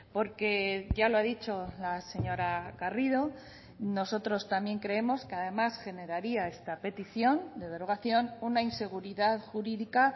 porque ya lo ha dicho la señora garrido nosotros también creemos que además generaría esta petición de derogación una inseguridad jurídica